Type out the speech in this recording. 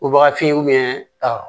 Obagafin